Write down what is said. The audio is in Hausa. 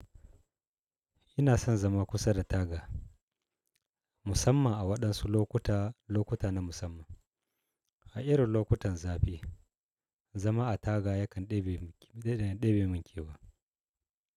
Ina son zama kusa da taga, musamman a waɗansu lokuta-lokuta na musamman. A irin lokutan zafi, zama a taga yakan ɗai bai min kyau ba.